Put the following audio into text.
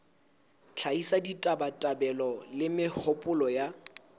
hlahisa ditabatabelo le mehopolo ya